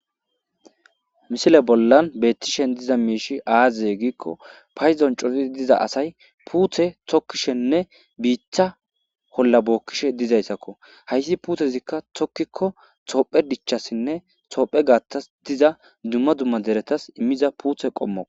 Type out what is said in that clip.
Misile bollan beettishen diza miishi aazaze giikko payzon coti diza asay puuthe tokkishenne biitha holla bookkishe dizayssakko hayssi puuthezikka tokkikko toophe dichchassinne toophe gaattas diza dumma dumma deretas immiza puuthe qommo.